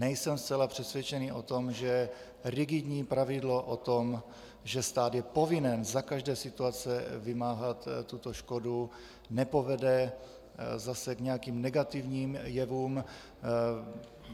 Nejsem zcela přesvědčený o tom, že rigidní pravidlo o tom, že stát je povinen za každé situace vymáhat tuto škodu, nepovede zase k nějakým negativním jevům.